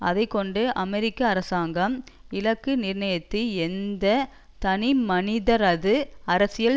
அதை கொண்டு அமெரிக்க அரசாங்கம் இலக்கு நிர்ணயித்த எந்த தனிமனிதரது அரசியல்